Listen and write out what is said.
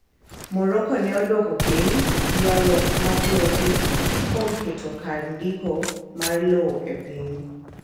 Morocco ne odwoko piny ywaruokmag lope kuom keto kar ndiko mar lowo e piny.